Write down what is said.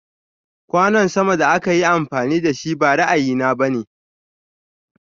Kwanon sama da akayi amfani dashi ba ra'ayi na bane.